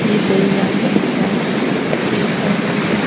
ये दरिया है एक साइड में और एक साइड में ये --